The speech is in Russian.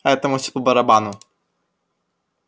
а этому всё по-барабану